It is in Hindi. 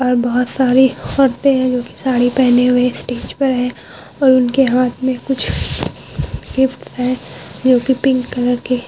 और बोहोत सारी औरते जो की साड़ी पेहने हुए इस स्टेज पर है और उसके हाथ में कुछ गिफ्ट्स है जो की पिंक कलर के--